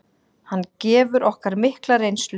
Hann gefur okkur mikla reynslu.